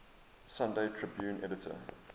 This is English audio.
sunday tribune editor